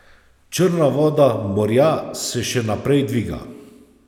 Črna voda morja se še naprej dviga.